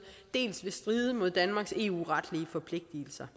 dels vil stride mod danmarks eu retlige forpligtelser